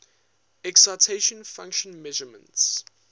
excitation function measurements